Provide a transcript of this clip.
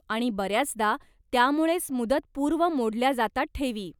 आणि बऱ्याचदा त्यामुळेच मुदतपूर्व मोडल्या जातात ठेवी.